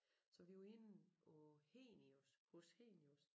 Så vi var inde på Henius Hos Henius